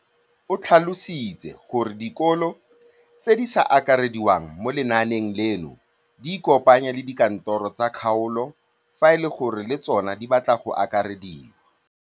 O tlhalositse gore dikolo tse di sa akarediwang mo lenaaneng leno di ikopanye le dikantoro tsa kgaolo fa e le gore le tsona di batla go akarediwa.